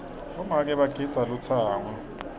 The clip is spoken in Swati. bomake bagidza lutsango